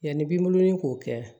Yanni b'i bolonɔ k'o kɛ